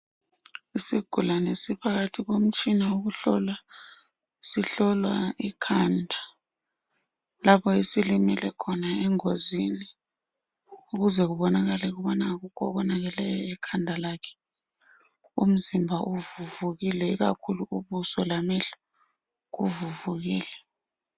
Isigulane siphakathi komutshina wokuhlola. Sihlolwa ikhanda lapho esilimele khona engozini ukuze kubonakale ukubana akukho okubonakeleyo ekhanda lakhe. Umzimba ukuvuvukele, ikakhulu ubuso lamehlo kuvuvukile